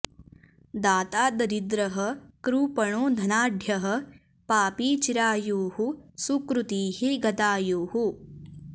दाता दरिद्रः कृपणो धनाढ्यः पापी चिरायुः सुकृतिः गतायुः